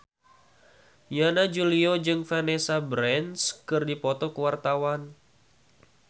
Yana Julio jeung Vanessa Branch keur dipoto ku wartawan